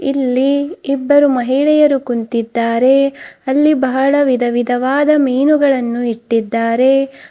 ಇಲ್ಲಿ ಇಬ್ಬರು ಮಹಿಳೆಯರು ಕುಂತಿದ್ದಾರೆ ಅಲ್ಲಿ ಬಹಳ ವಿಧವಿಧವಾದ ಮೀನುಗಳನ್ನು ಇಟ್ಟಿದ್ದಾರೆ.